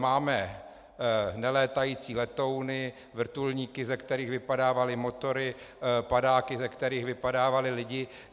Máme nelétající letouny, vrtulníky, ze kterých vypadávaly motory, padáky, ze kterých vypadávali lidi.